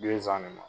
Bizan nin ma